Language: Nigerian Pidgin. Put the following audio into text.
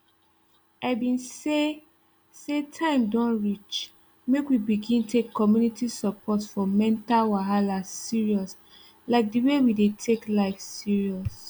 i been say say time don reach make we begin take community support for mental wahala serious like the way we dey take life serious